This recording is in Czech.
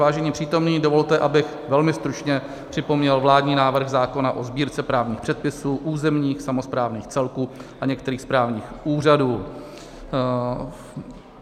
Vážení přítomní, dovolte, abych velmi stručně připomněl vládní návrh zákona o Sbírce právních předpisů územních samosprávných celků a některých správních úřadů.